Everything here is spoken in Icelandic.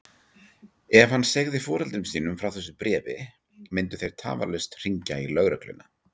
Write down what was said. Ef hann segði foreldrum sínum frá þessu bréfi myndu þeir tafarlaust hringja í lögregluna.